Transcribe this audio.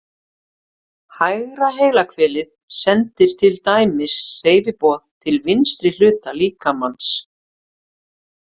Hægra heilahvelið sendir til dæmis hreyfiboð til vinstri hluta líkamans.